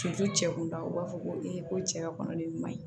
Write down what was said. cɛ kunda u b'a fɔ ko ko cɛya kɔnɔ ni ɲuman ye